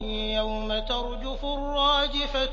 يَوْمَ تَرْجُفُ الرَّاجِفَةُ